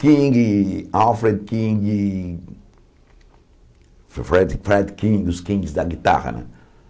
King, Alfred King, Fre Fred Fred King, os kings da guitarra, né?